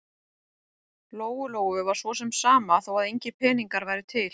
Lóu-Lóu var svo sem sama þó að engir peningar væru til.